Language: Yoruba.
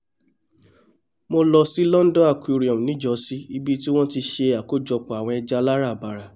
mo lọ sí london aquarium níjọ́sí ibi tí wọ́n ti ṣe àkójọpọ̀ àwọn ẹja aláràbarà